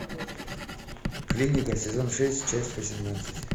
клиника сезон шесть часть восемнадцать